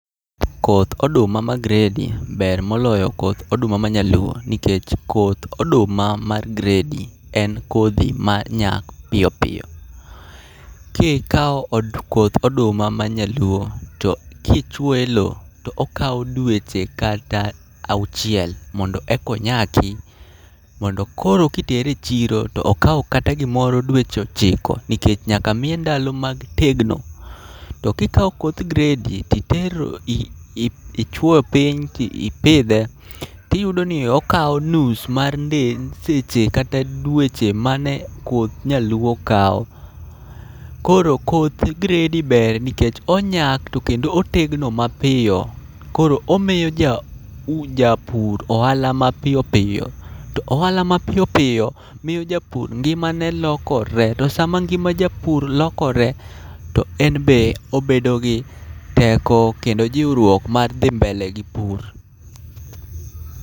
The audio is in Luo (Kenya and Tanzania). Koth oduma ma gredi ber moloyo koth oduma ma nyaluo, nikech koth oduma mar gredi en kodhi ma nyak piyo piyo. Kikao koth oduma ma nyaluo to kichwoye e lo to okao dweche kata auchiel mondo e konyaki. Mondo koro kitere e chiro to okawo kata gimoro dweche ochiko nikech nyaka miye ndalo mag tegno. To kikawo koth gredi titero ichwo piny tipidhe, tiyudo ni okao nus mar nde seche kata dweche mane koth nyaluo kawo. Koro koth gredi ber nikech onyak to kendo otegno mapiyo. Koro omiyo ja u, japur ohala ma piyo piyo, to ohala ma piyo piyo miyo japur ngimane lokore. To sama ngima japur lokore to enbe obedo gi teko kendo jiwruok mar dhi mbele gi pur.